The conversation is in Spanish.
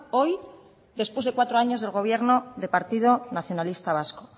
hoy después de cuatro años del gobierno del partido nacionalista vasco